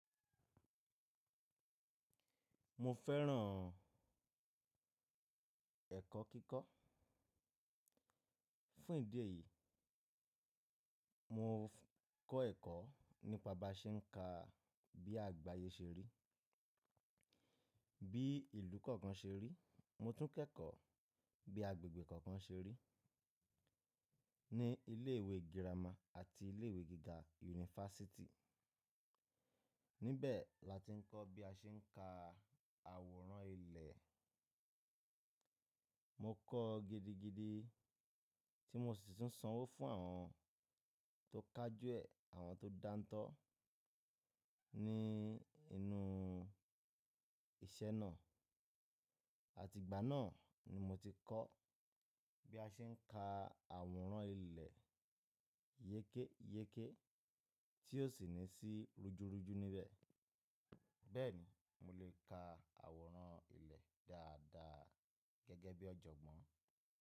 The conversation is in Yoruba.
Mo fẹ́ràn ẹ̀kọ́ kíkọ́. Fún ìdí èyí, mo kọ́ ẹ̀kọ́ nípa bí a ṣe ń ka bí àgbáyé ṣe rí, bí ìlú kọ̀ọ̀kan ṣe rí. Mo tún kẹ́kọ̀ọ́ bí agbègbè kọ̀ọ̀kan ṣe rí ní ilé ìwé gírámà àti ilé ìwé gíga yunifásítì. Níbẹ̀ la ti ń kọ́ bí a ṣe ń ka àwòrán ilẹ̀. Mo kọ́ gidigidi tí mo sì tún sanwó fún àwọn tó kájúẹ̀ àwọn tó dáńtọ́ ní inú ìṣe náà. Àti ìgbà náà ni mo ti kọ́ bí a ṣe ń ka àwòrán ilẹ̀ yékéyéké tí ó sì ní sí rújúrújú níbẹ̀. Bẹ́ẹ̀ ni, mo lè ka àwòrán ilẹ̀ dáadáa gẹ́gẹ́ bí ọ̀jọ̀gbọ́n.